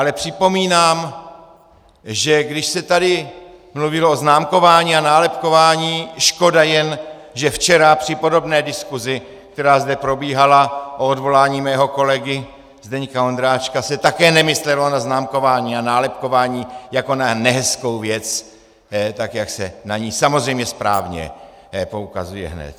Ale připomínám, že když se tady mluvilo o známkování a nálepkování, škoda jen, že včera při podobné diskusi, která zde probíhala, o odvolání mého kolegy Zdeňka Ondráčka, se také nemyslelo na známkování a nálepkování jako na nehezkou věc tak, jak se na ni samozřejmě správně poukazuje hned.